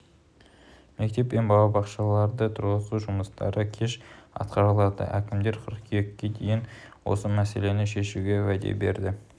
мектеп пен балабақшаларды тұрғызу жұмыстары кеш атқарылады әкімдер қыркүйекке дейін осы мәселені шешуге уәде берді